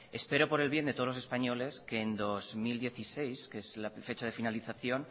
espero por el bien de todos los españoles que en dos mil dieciséis que es la fecha de finalización